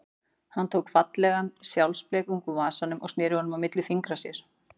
Hann tók fallegan sjálfblekung úr vasanum og sneri honum milli fingra sér.